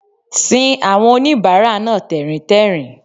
sin àwọn oníbàárà náà tẹ̀ríntẹ̀rín